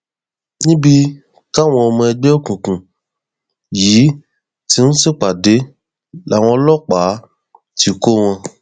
níbi táwọn ọmọ ẹgbẹ òkùnkùn yìí ti ń ṣèpàdé làwọn ọlọpàá ti kọ wọn